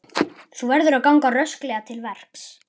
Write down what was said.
Þú verður að ganga rösklega til verks.